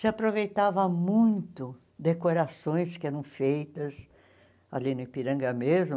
se aproveitava muito decorações que eram feitas ali no Ipiranga mesmo.